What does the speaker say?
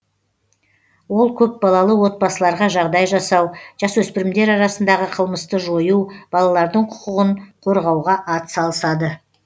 ол көпбалалы отбасыларға жағдай жасау жасөспірімдер арасындағы қылмысты жою балалардың құқығын қорғауға атсалысады